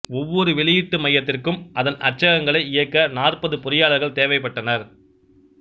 ஒவ்வொரு வெளியீட்டு மையத்திற்கும் அதன் அச்சகங்களை இயக்க நாற்பது பொறியாளர்கள் தேவை பட்டனர்